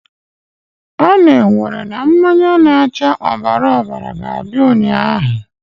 A na-ewere na mmanya na-acha ọbara ọbara ga-abịa ụnyaahụ!